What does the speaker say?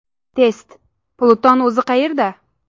Test: Pluton o‘zi qayerda?.